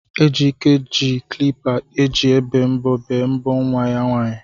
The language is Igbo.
Ejike ji klipa eji ebe mbọ bee mbọ nwa ya nwaanyị.